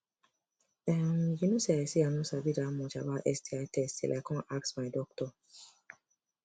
um you no say i say i no sabi that much about sti test till i come ask my doctor